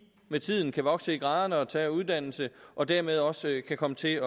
med tiden kan vokse i graderne og tage uddannelse og dermed også kan komme til